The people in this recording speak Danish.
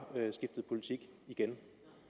skiftet politik igen